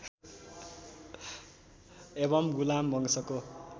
एवं गुलाम वंशको